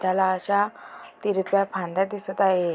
त्याला अश्या तिरप्या फांद्या दिसत आहे.